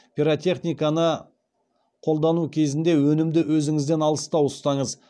пиротехниканы қолдану кезінде өнімді өзіңізден алыстау ұстаңыз